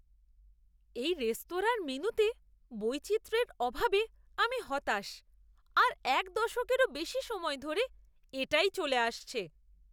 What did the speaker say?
এই রেস্তোরাঁর মেনুতে বৈচিত্র্যের অভাবে আমি হতাশ আর এক দশকেরও বেশি সময় ধরে এটাই চলে আসছে।